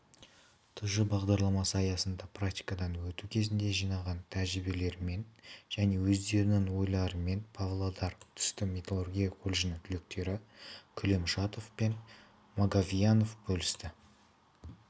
тж бағдарламасы аясында практикадан өту кезінде жинаған тәжірибелерімен және өздерінің ойларымен павлодар түсті металлургия колледжінің түлектері күлемшатов пен маговьянов бөлісті